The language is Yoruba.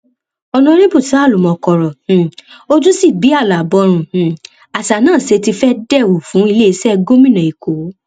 ọnàrẹbù ṣàá olúmọ kọrọ um ojú sí bí alábòrun um àṣà náà ṣe ti fẹẹ dẹwù fún iléeṣẹ gómìnà èkó